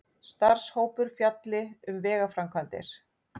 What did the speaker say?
Starfshópur fjalli um vegaframkvæmdir